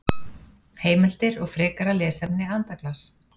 Heimildir og frekara lesefni Andaglas.